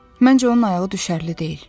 Məncə, onun ayağı düşərli deyil.